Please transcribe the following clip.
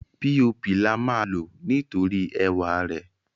píopì lama lò nítorí ẹwà rè.